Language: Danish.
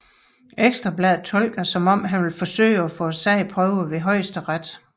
Ekstra Bladet tolker det som at han vil forsøge at få sagen prøvet ved Højesteret